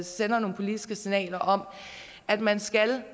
sender nogle politiske signaler om at man skal